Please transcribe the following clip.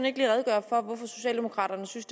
ikke lige redegøre for hvorfor socialdemokraterne synes